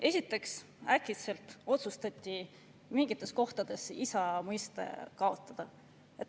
Esiteks, äkitselt otsustati mingites kohtades isa mõiste kaotada.